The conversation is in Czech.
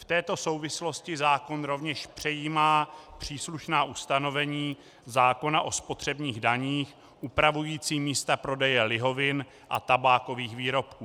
V této souvislosti zákon rovněž přejímá příslušná ustanovení zákona o spotřebních daních upravující místa prodeje lihovin a tabákových výrobků.